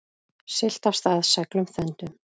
Siglt af stað seglum þöndum.